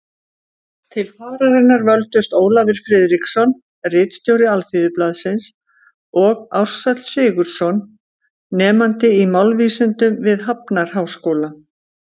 Til fararinnar völdust Ólafur Friðriksson, ritstjóri Alþýðublaðsins, og Ársæll Sigurðsson, nemandi í málvísindum við Hafnarháskóla.